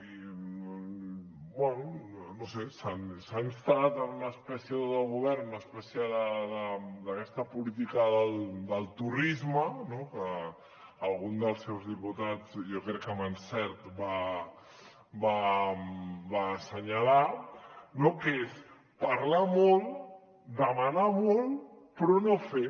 bé no ho sé s’ha instal·lat en una espècie de govern una espècie d’aquesta política del torrisme no que algun dels seus diputats jo crec que amb encert va assenyalar que és parlar molt demanar molt però no fer